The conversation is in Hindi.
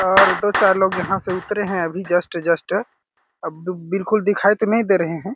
और दो- चार लोग यहाँ से उतरे है अभी जस्ट - जस्ट अ बी बिलकुल दिखाई तो नहीं दे रहे हैं ।